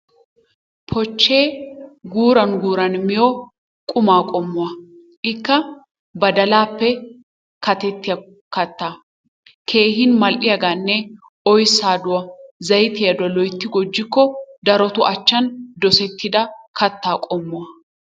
Pochee guran guran miyo qumma qommuwa ikka badalappe katettiyaa kattaa keehi mal'iyaganne oysaaduwa zaytiyaduwa loytti gujjikko darottub achchan dosettidda kattaa qommuwa.